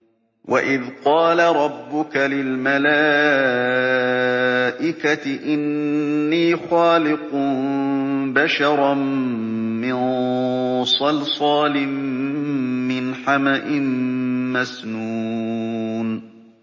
وَإِذْ قَالَ رَبُّكَ لِلْمَلَائِكَةِ إِنِّي خَالِقٌ بَشَرًا مِّن صَلْصَالٍ مِّنْ حَمَإٍ مَّسْنُونٍ